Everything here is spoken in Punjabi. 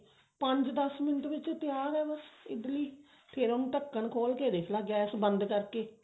ਪੰਜ ਦਸ ਮਿੰਟ ਵਿੱਚ ਤਿਆਰ ਹੈ ਬਸ ਇਡਲੀ ਫ਼ੇਰ ਉਹਨੂੰ ਢੱਕਣ ਖੋਲ ਕੇ ਦੇਖਲਾ ਗੈਸ ਬੰਦ ਕਰਕੇ